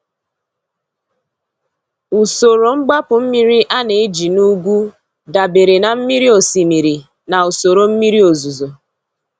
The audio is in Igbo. Usoro mgbapu mmiri a na-eji na ugwu dabere na mmiri osimiri na usoro mmiri ozuzo.